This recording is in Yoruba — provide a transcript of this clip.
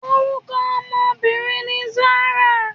Orúkọ ọmọbìnrin ni Zarah.